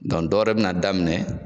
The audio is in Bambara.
dɔ wɛrɛ bɛna daminɛ